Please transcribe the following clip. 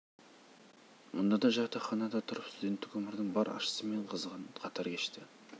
мұнда да жатақханада тұрып студенттік өмірдің бар ащысы мен қызығығын қатар кешті